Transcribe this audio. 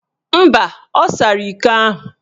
Mba, ọ sara iko ahụ